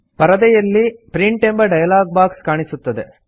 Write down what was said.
ಪರದೆಯಲ್ಲಿ ಪ್ರಿಂಟ್ ಎಂಬ dialog box ಕಾಣಿಸುತ್ತದೆ